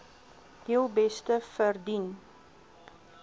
heel beste verdien